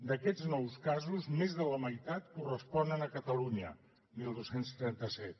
d’aquests nous casos més de la meitat corresponen a catalunya dotze trenta set